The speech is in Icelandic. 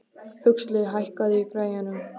Huxley, hækkaðu í græjunum.